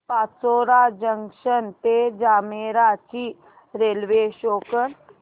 Pachora junction ते जामनेर ची railway show कर